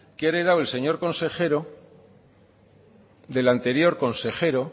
que ha heredado el señor consejero del anterior consejero